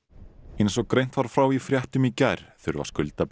eins og greint var frá í fréttum í gær þurfa